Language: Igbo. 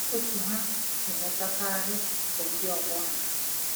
Ndị otu ha na-enwetakarị bụ ndị ọgbọ ha.